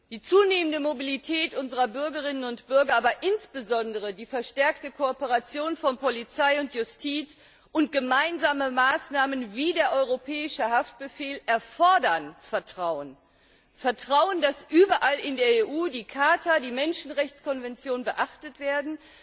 Die zunehmende Mobilität unserer Bürgerinnen und Bürger, aber insbesondere die verstärkte Kooperation von Polizei und Justiz und gemeinsame Maßnahmen wie der Europäische Haftbefehl erfordern Vertrauen! Vertrauen, dass überall in der EU die Charta, die Menschenrechtskonventionen beachtet werden.